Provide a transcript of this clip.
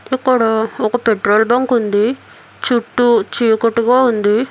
అక్కడ ఒక petrol bunk ఉంది చుట్టూ చీకటిగా ఉంది.